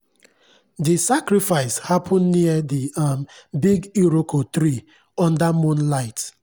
the sacrifice happen near the um big iroko tree under moonlight.